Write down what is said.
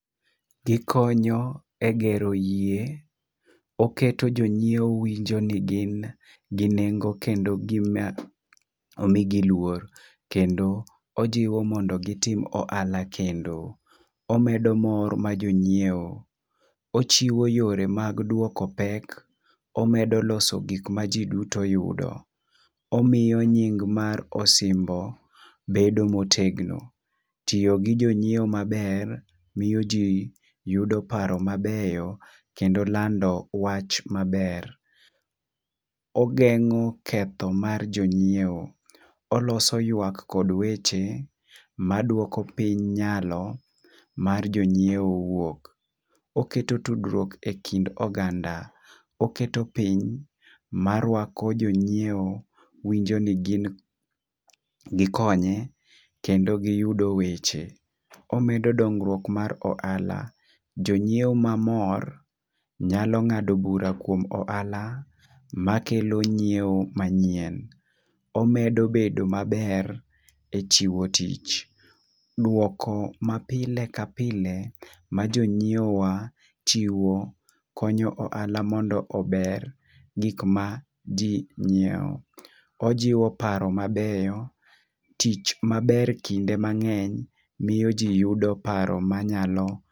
Gikonyo e gero yie, oketo jonyiewo winjo ni gin gi nengo kendo gi omigi luor kendo ojiwo mondo gitim ohala kendo. Omedo mor ma jonyiewo, ochiwo yore mag duoko pek , omedo loso gik ma jii duto yudo, omiyo nying mar osimbo bedo motegno. Tiyo gi jonyiewo maber miyo jii yudo paro mabeyo kendo lando wach maber . Ogeng'o ketho mar jonyiewo ,oloso ywak kod weche maduoko piny nyalo mar jonyiewo wuok, oketo tudruok e kind oganda, oketo piny marwako jonyiewo winjo ni gin nikonye kendo giyudo weche. Omedo dongruok mag ohala jonyiewo mamor nyalo ngado bura kuom ohala makelo nyiewo manyien omedo bedo maber e chiwo tich. Duoko ma pile ka pile ma jonyiewo wa chiwo konyo ohala mondo ober gik ma jii nyiewo, ojiwo paro mabeyo. Tich maber kinde mang'eny miyo jii yudo paro manyalo